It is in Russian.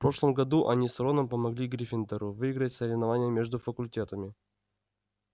в прошлом году они с роном помогли гриффиндору выиграть соревнование между факультетами